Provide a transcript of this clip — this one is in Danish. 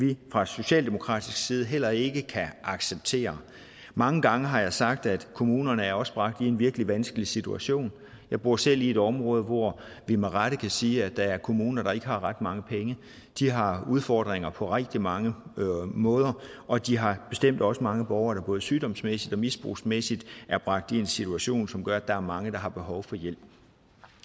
vi fra socialdemokratisk side heller ikke kan acceptere mange gange har jeg sagt at kommunerne også er bragt i en virkelig vanskelig situation jeg bor selv i et område hvor vi med rette kan sige at der er kommuner der ikke har ret mange penge de har udfordringer på rigtig mange måder og de har bestemt også mange borgere der både sygdomsmæssigt og misbrugsmæssigt er bragt i en situation som gør at der er mange der har behov for hjælp